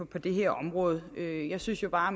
på det her område jeg jeg synes jo bare